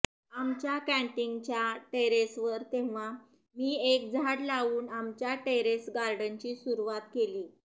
आमच्या कॅन्टिनच्या टेरेसवर तेव्हा मी एक झाड लावून आमच्या टेरेस गार्डनची सुरुवात केली